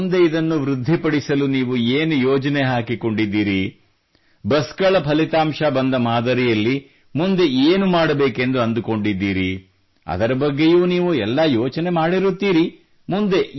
ಹಾಗೂ ಮುಂದೆ ಇದನ್ನು ವೃದ್ಧಿಪಡಿಸಲು ನೀವು ಏನು ಯೋಜನೆ ಹಾಕಿಕೊಂಡಿದ್ದೀರಿ ಬಸ್ ಗಳ ಫಲಿತಾಂಶ ಬಂದ ಮಾದರಿಯಲ್ಲಿ ಮುಂದೇನು ಮಾಡಬೇಕೆಂದು ಅಂದುಕೊಂಡಿದ್ದೀರಿ ಅದರ ಬಗ್ಗೆಯೂ ನೀವು ಎಲ್ಲ ಯೋಚನೆ ಮಾಡಿರುತ್ತೀರಿ